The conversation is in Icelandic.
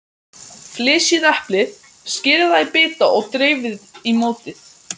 Flysjið eplið, skerið það í bita og dreifið í mótið.